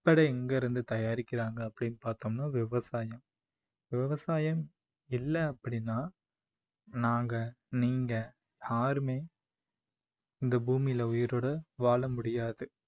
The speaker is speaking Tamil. ப்படை எங்கிருந்து தயாரிக்கிறாங்க அப்படின்னு பாத்தோம்னா விவசாயம். விவசாயம் இல்ல அப்படின்னா நாங்க நீங்க யாருமே இந்த பூமியில உயிரோட வாழ முடியாது